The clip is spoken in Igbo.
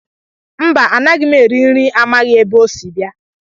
Mba, anaghị m eri nri amaghị m ebe o si bịa